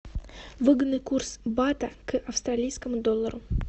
выгодный курс бата к австралийскому доллару